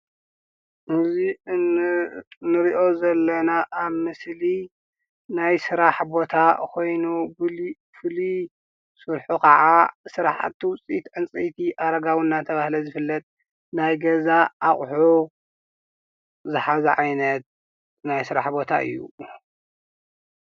እዚ እንሪኦ ዘለና ኣብ ምስሊ ናይ ስራሕ ቦታ ኾይኑ ፍሉይ ስርሑ ከዓ ስራሕቲ ዉፅኢት ዕንፀይቲ ኣረጋዊ እናተብሃለ ዝፍለጥ ናይ ገዛ ኣቑሑ ዝሓዘ ዓይነት ናይ ስራሕ ቦታ እዩ።